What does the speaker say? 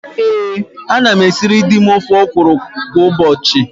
Ee, ana m esiri di m ofe ọkwụrụ kwa ụbọchị.